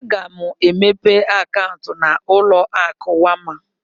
Aga mụ emepe akauntu na ụlọ akụ Wema.